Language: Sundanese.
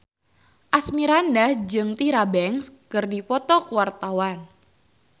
Asmirandah jeung Tyra Banks keur dipoto ku wartawan